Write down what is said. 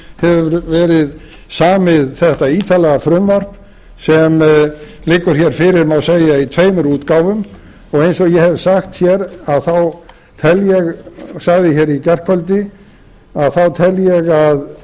hefur verið samið þetta ítarlega frumvarp sem liggur hér fyrir má segja í tveimur útgáfum og eins og ég hef sagt hér þá tel ég og sagði hér í gærkvöldi að þá tel ég að